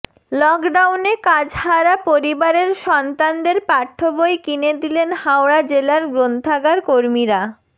লকডাউনে কাজহারা পরিবারের সন্তানদের পাঠ্যবই কিনে দিলেন হাওড়া জেলার গ্রন্থাগার কর্মীরা